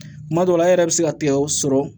Kuma dɔ la a yɛrɛ bɛ se ka tigɛ o sɔrɔ